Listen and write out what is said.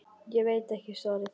Ég veit ekki svarið.